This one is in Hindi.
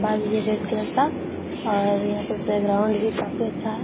भा भी है रेड कलर का और यहाँ पर बैकग्राउंड भी काफी अच्छा है।